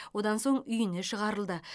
одан соң үйіне шығарылды